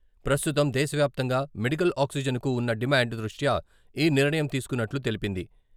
ప్రస్తుతం దేశవ్యాప్తంగా మెడికల్ ఆక్సిజన్కు ఉన్న డిమాండ్ దృష్ట్యా ఈ నిర్ణయం తీసుకున్నట్లు తెలిపింది.